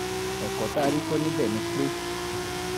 ẹ̀kọ́ tá a rí kọ́ níbẹ̀ ni pé